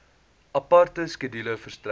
aparte skedule verstrek